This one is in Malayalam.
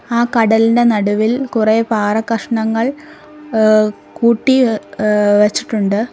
ആ കടലിന്റെ നടുവിൽ കുറെ പാറക്കഷണങ്ങൾ ഏഹ് കൂട്ടി ഏഹ് വെച്ചിട്ടുണ്ട്.